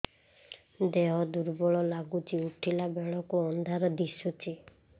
ଦେହ ଦୁର୍ବଳ ଲାଗୁଛି ଉଠିଲା ବେଳକୁ ଅନ୍ଧାର ଦିଶୁଚି